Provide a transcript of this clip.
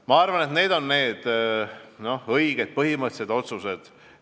Ma arvan, et need on õiged põhimõttelised otsused.